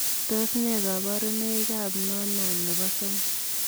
Tos nee kabarunoik ap noonan nepo somok?